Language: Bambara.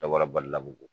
Dabɔra balila bogo